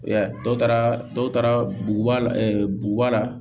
Dɔw taara dɔw taara buguba la buguba la